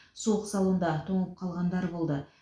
суық салонда тоңып қалғандар болды